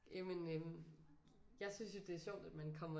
Jamen øh jeg synes jo det er sjovt at man kommer